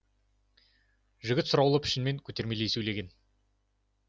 жігіт сұраулы пішінмен көтермелей сөйлеген